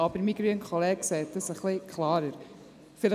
Aber mein grüner Kollege sieht das ein wenig klarer.